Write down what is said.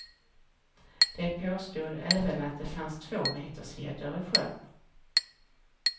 De påstod även att det fanns tvåmetersgäddor i sjön.